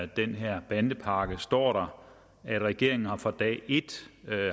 den her bandepakke står at regeringen fra dag et